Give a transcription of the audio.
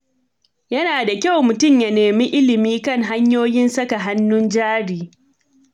Yana da kyau mutum ya nemi ilimi kan hanyoyin saka hannun jari.